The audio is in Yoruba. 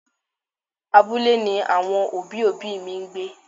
Abúlé ni àwọn òbí òbí mi ń gbé.